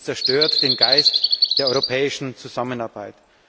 Das zerstört den Geist der europäischen Zusammenarbeit!